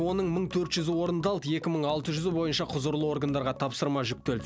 оның мың төрт жүзі орындалды екі мың алты жүзі бойынша құзырлы органдарға тапсырма жүктел